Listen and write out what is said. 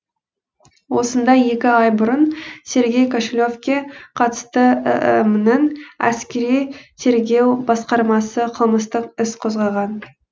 осында екі ай бұрын сергей кошелевке қатысты іім нің әскери тергеу басқармасы қылмыстық іс қозғаған